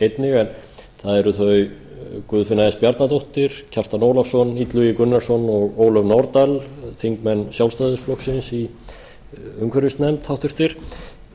einnig en það eru þau guðfinna s bjarnadóttir kjartan ólafsson illugi gunnarsson og ólöf nordal háttvirtir þingmenn sjálfstæðisflokksins í umhverfisnefnd